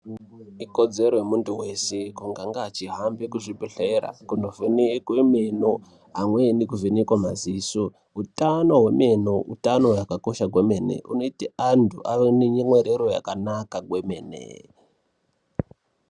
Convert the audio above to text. Ikodzero yemuntu weshe kunge ange achihambe kuzvibhedhlera kundovhenekwe meno, amweni kuvhenekwe maziso. Utano hwemeno utano hwakakosha kwemene, unoite antu ave nenyemwerero yakanaka kwemene.